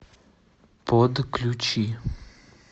подключи